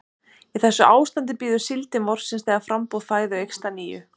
Í þessu ástandi bíður síldin vorsins þegar framboð fæðu eykst að nýju.